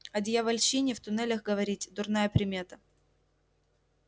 о дьявольщине в туннелях говорить дурная примета